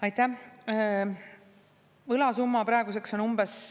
Aitäh!